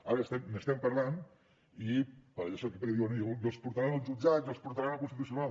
ara n’estem parlant i per això que diuen i els portaran al jutjat i els portaran al constitucional